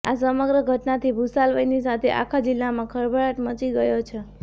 આ સમગ્ર ઘટનાથી ભુસાવલની સાથે આખા જિલ્લામાં ખળભળાટ મચી ગયો છે